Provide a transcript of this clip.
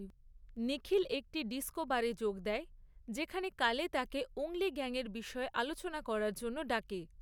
নিখিল একটি ডিস্কো বারে যোগ দেয়, যেখানে কালে তাকে উঙ্গলি গ্যাংয়ের বিষয়ে আলোচনা করার জন্য ডাকে।